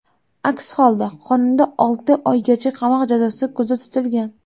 Aks holda qonunda olti oygacha qamoq jazosi ko‘zda tutilgan.